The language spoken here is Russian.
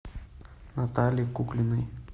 натальи куклиной